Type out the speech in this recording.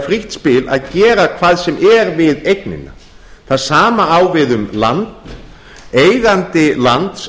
frítt spil að gera hvað sem er við eignina það sama á við um land eigandi lands